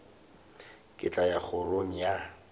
ke tla ya kgorong ya